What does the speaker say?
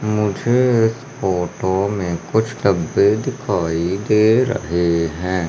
मुझे इस फोटो में कुछ डब्बे दिखाई दे रहे है।